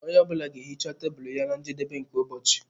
Onye ọ bụla ga-ehicha tebụl ya na njedebe nke ụbọchị.